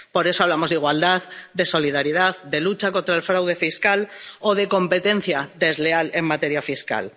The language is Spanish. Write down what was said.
Por eso hablamos de igualdad, de solidaridad, de lucha contra el fraude fiscal o de competencia desleal en materia fiscal.